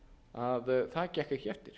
að það gekk ekki eftir